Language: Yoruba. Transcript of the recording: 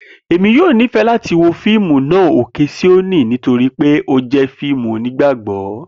Emi yoo nifẹ lati wo fiimu naa 'Oke Sioni' nitori pe o jẹ fiimu Onigbagbọ.